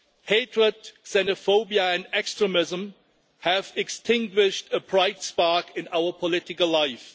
Hatred, xenophobia and extremism have extinguished a bright spark in our political life.